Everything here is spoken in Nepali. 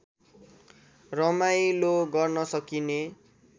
रमाइलो गर्न सकिने